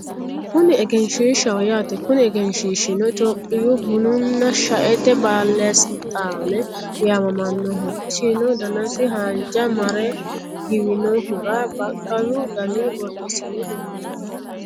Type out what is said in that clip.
Kunni egenishishaho yaate Kuni egenishishino itiyopiyu bununa shaete baalesilixaane yaamamanoho isino danassi haanija mare giwinohura baqqalu danni borresine heenoni yaatte